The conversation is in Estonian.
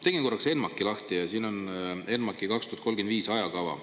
Tegin korraks ENMAK-i lahti ja siin on ENMAK-i 2035 ajakava.